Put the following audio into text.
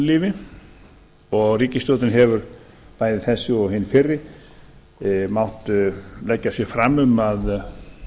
atvinnulífi og ríkisstjórnin bæði þessi og hin fyrri mátt leggja sig fram um að